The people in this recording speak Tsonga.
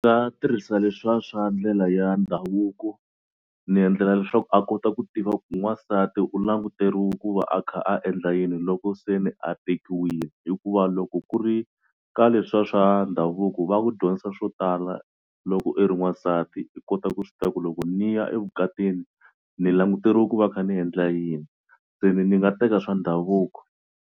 Nga tirhisa leswa swa ndlela ya ndhavuko ni endlela leswaku a kota ku tiva ku n'wansati u languteriwe ku va a kha a endla yini loko se ni a tekiwile hikuva loko ku ri ka leswa swa ndhavuko va ku dyondzisa swo tala loko i ri n'wansati i kota ku swi tiva ku loko ni ya evukatini ni languteriwe ku va kha ni endla yini. Se ni ni nga teka swa ndhavuko.